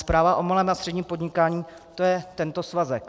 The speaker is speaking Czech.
Zpráva o malém a středním podnikání, to je tento svazek.